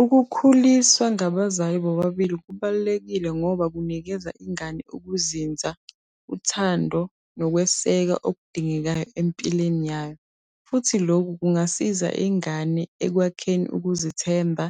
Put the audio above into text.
Ukukhuliswa ngabazali bobabili kubalulekile ngoba kunikeza ingane ukuzinza, uthando, nokweseka okudingekayo empilweni yayo. Futhi lokhu kungasiza ingane ekwakheni ukuzithemba,